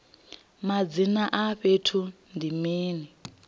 madzina a fhethu ndi mini